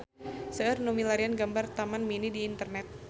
Seueur nu milarian gambar Taman Mini di internet